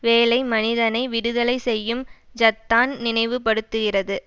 வேலை மனிதனை விடுதலை செய்யும் ஜத்தான் நினைவு படுத்துகிறது